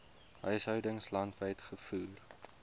huishoudings landwyd gevoer